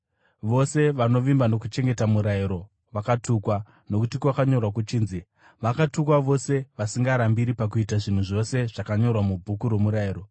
Vose vanovimba nokuchengeta murayiro vakatukwa, nokuti kwakanyorwa kuchinzi: “Vakatukwa vose vasingarambiri pakuita zvinhu zvose zvakanyorwa muBhuku roMurayiro.”